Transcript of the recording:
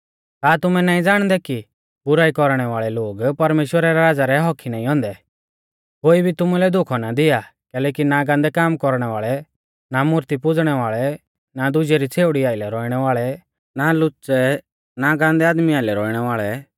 का तुमै नाईं ज़ाणदै कि बुराई कौरणै वाल़ै लोग परमेश्‍वरा रै राज़ा रै हक्क्की नाईं औन्दै कोई भी तुमुलै धोखौ ना दिया कैलैकि ना गान्दै काम कौरणै वाल़ै ना मूर्ती पुज़णै वाल़ै ना दुजै री छ़ेउड़ी आइलै रौइणै वाल़ै ना लुच्च़ै ना गान्दै आदमी आइलै रौइणै वाल़ै